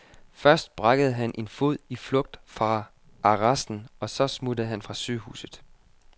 Først brækkede han en fod i flugt fra arresten, og så smuttede han fra sygehuset.